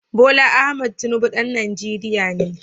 Bola Ahmed Tinubu ɗan Najeriya ne